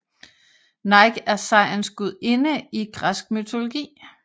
Nike er sejrens gudinde i græsk mytologi